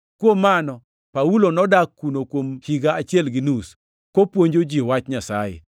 Kuom mano, Paulo nodak kuno kuom higa achiel gi nus, kopuonjo ji wach Nyasaye.